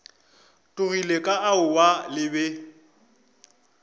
tlogile ka aowa le be